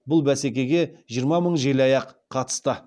бұл бәсекеге жиырма мың желаяқ қатысты